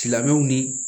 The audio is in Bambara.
Silamɛw ni